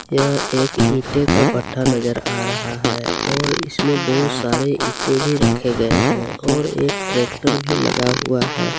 यह एक ईंटे का भट्ठा नजर आ रहा है और इसमें बहुत सारे ईंटे भी रखे गए हैं और एक ट्रैक्टर भी लगा हुआ है।